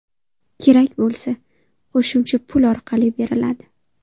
Kerak bo‘lsa, qo‘shimcha pul orqali beriladi.